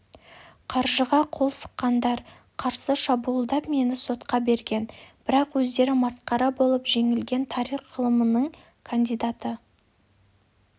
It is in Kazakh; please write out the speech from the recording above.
қаржыға қол сұққандар қарсы шабуылдап мені сотқа берген бірақ өздері масқара болып жеңілген тарих ғылымының кандидаты